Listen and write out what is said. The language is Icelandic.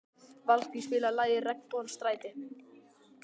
Valgý, spilaðu lagið „Regnbogans stræti“.